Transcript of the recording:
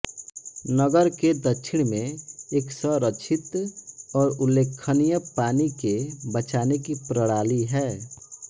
नगर के दक्षिण में एक संरक्षित और उल्लेखनीय पानी के बचाने की प्रणाली है